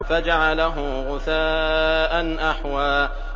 فَجَعَلَهُ غُثَاءً أَحْوَىٰ